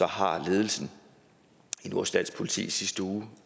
har ledelsen i vores rigspoliti i sidste uge